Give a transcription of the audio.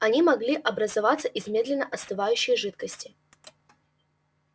они могли образоваться из медленно остывающей жидкости